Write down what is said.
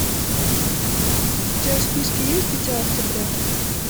у тебя в списке есть дитя октября